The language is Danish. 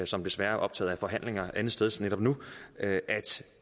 som desværre er optaget af forhandlinger andetsteds netop nu at